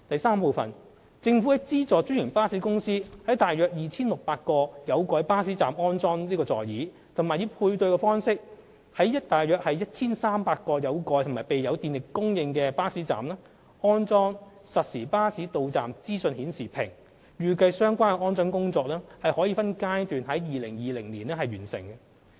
三政府資助專營巴士公司在共約 2,600 個有蓋巴士站安裝座椅，以及以配對方式在約 1,300 個有蓋及備有電力供應的巴士站安裝實時巴士到站資訊顯示屏，預計相關安裝工作將分階段在2020年完成。